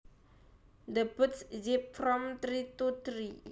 The birds zip from tree to tree